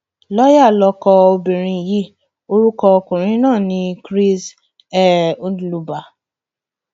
lọọyà lọkọ obìnrin yìí orúkọ ọkùnrin náà ni chris um ndluba